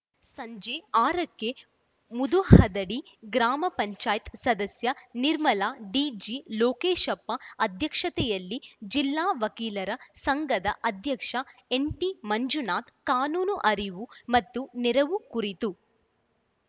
ಸಂಜೆ ಆರಕ್ಕೆ ಮುದಹದಡಿ ಗ್ರಾಮ ಪಂಚಾಯತ್ ಸದಸ್ಯೆ ನಿರ್ಮಲ ಡಿಜಿಲೋಕೇಶಪ್ಪ ಅಧ್ಯಕ್ಷತೆಯಲ್ಲಿ ಜಿಲ್ಲಾ ವಕೀಲರ ಸಂಘದ ಅಧ್ಯಕ್ಷ ಎನ್‌ಟಿಮಂಜುನಾಥ ಕಾನೂನು ಅರಿವು ಮತ್ತು ನೆರವು ಕುರಿತು